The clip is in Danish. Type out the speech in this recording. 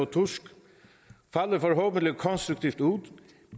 tusk falder forhåbentlig konstruktivt ud